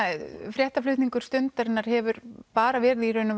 fréttaflutningur Stundarinnar hefur bara verið í raun